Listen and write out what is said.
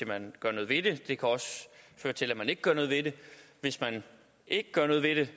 man gør noget ved det det kan også føre til at man ikke gør noget ved det hvis man ikke gør noget ved det